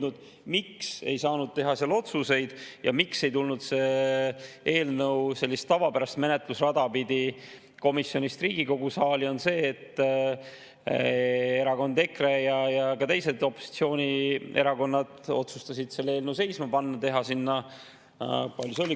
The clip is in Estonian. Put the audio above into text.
miks ei saanud teha seal otsuseid ja miks ei tulnud see eelnõu sellist tavapärast menetlusrada pidi komisjonist Riigikogu saali, on see, et EKRE ja ka teised opositsioonierakonnad otsustasid selle eelnõu seisma panna, teha sinna – palju see oli?